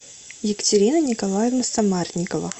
екатерина николаевна самарникова